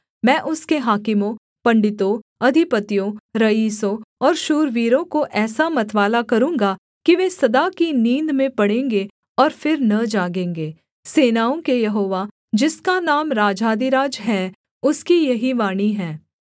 मैं उसके हाकिमों पंडितों अधिपतियों रईसों और शूरवीरों को ऐसा मतवाला करूँगा कि वे सदा की नींद में पड़ेंगे और फिर न जागेंगे सेनाओं के यहोवा जिसका नाम राजाधिराज है उसकी यही वाणी है